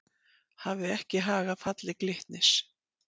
Hafði ekki hag af falli Glitnis